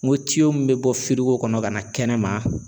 N ko min bɛ bɔ ko kɔnɔ ka na kɛnɛma.